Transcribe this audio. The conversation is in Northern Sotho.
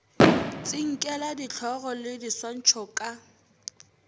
tsinkela dihlogo le diswantšho ka